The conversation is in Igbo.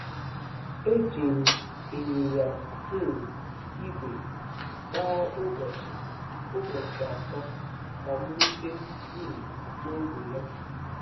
Eji m ịnyịnya um ígwè gbaa ụbọchị ụbọchị atọ ka m rute um n’ógbè ya.